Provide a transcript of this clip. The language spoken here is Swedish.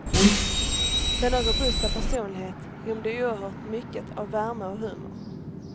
Denna robusta personlighet rymde oerhört mycket av värme och humor.